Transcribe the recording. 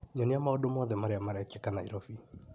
Nyonia maũndũ mothe marĩa marekĩka Naĩrobĩ .